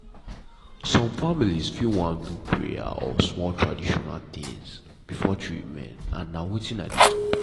some families fit wan do prayer or small tradition things before treatment and na wetin i dey talk.